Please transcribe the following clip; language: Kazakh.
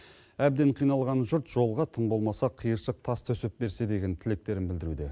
әбден қиналған жұрт жолға тым болмаса қиыршық тас төсеп берсе деген тілектерін білдіруде